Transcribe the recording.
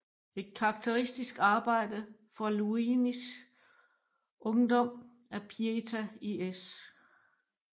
Et karakteristisk arbejde fra Luinis ungdom er Pieta i S